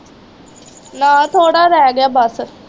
ਲੈ ਥੋੜ੍ਹਾ ਰਹਿ ਗਿਆ ਬੱਸ